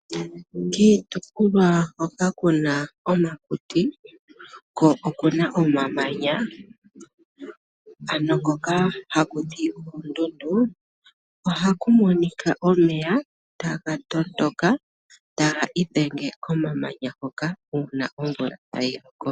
Kiitopolwa hoka kuna omakuti ko okuna omamanya ano hoka ha ku tiwa oondundu ohakumonika omeya ta ga matuka ta ga idhenge komamanya hoka uuna omvula ta yiloko.